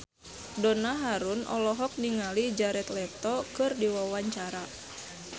Donna Harun olohok ningali Jared Leto keur diwawancara